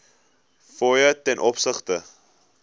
fooie ten opsigte